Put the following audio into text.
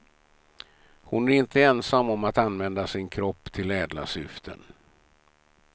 Hon är inte ensam om att använda sin kropp till ädla syften.